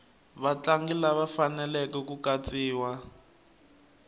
vatlangi lava faneleke ku katsiwa